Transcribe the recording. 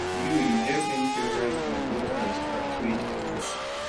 you you get any favorite um local restaurant where you dey eat